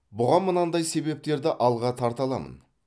бұған мынандай себептерді алға тарта аламын